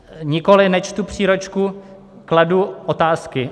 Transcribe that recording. Nikoli, nečtu příručku, kladu otázky.